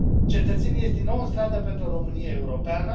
Cetățenii ies din nou în stradă pentru o Românie europeană.